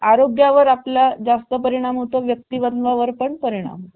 त्याचा आरोग्या वर आपला जास्त परिणाम होतो. व्यक्तींवर पण परिणाम